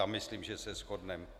Tam myslím, že se shodneme.